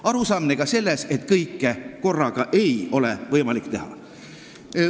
Arusaamine ka sellest, et kõike korraga ei ole võimalik teha.